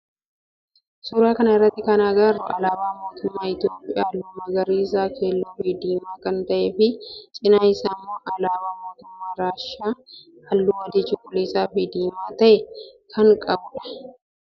Suuraa kana irratti kan agarru alaabaa mootummaa Itiyoophiyaa halluu magariisa, keelloo fi diimaa kan ta'ee fi cinaa isaatti immoo alaabaa mootummaa Raashiyaa halluu adii, cuquliisa fi diimaa ta'e kan qabu dha.